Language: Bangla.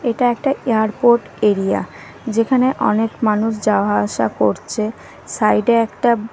এটা একটা এয়ারপোর্ট এরিয়া যেখানে অনেক মানুষ যাওয়া আসা করছে সাইড -এ একটা--